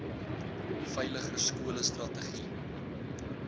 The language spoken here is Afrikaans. veiliger skole strategie